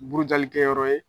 Burujali kɛyɔrɔ ye